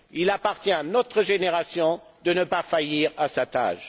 Il appartient à notre génération de ne pas faillir à sa tâche.